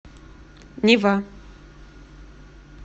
нева